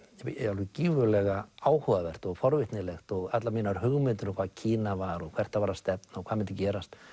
alveg gífurlega áhugavert og forvitnilegt og allar mínar hugmyndir um hvað Kína var og hvert það var að stefna og hvað myndi gerast